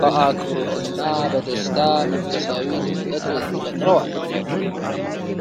በአክብሮትና በደስታ መንፈሳዊ ድምቀት ፈጥረዋል!